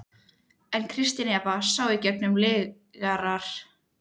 En Kristín Eva sá í gegnum lygarnar.